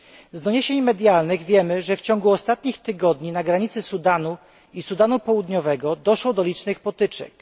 Z doniesień medialnych wiemy, że w ciągu ostatnich tygodni na granicy Sudanu i Sudanu Południowego doszło do licznych potyczek.